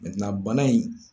bana in